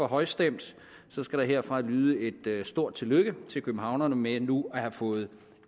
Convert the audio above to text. højstemt skal der herfra lyde et stort tillykke til københavnerne med nu at have fået